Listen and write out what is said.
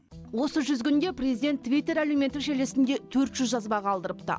осы жүз күнде президент твиттер әлеуметтік желісінде төрт жүз жазба қалдырыпты